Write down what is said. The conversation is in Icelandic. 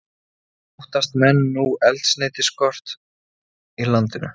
Óttast menn nú eldsneytisskort í landinu